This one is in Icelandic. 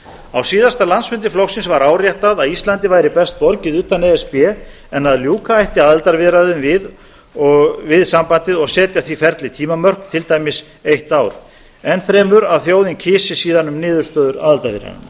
á síðasta landsfundi flokksins var áréttað að íslandi væri best borgið utan e s b en að ljúka ætti aðildarviðræðum við sambandið og setja því ferli tímamörk til dæmis eitt ár enn fremur að þjóðin greiddi síðan atkvæði um niðurstöður aðildarviðræðnanna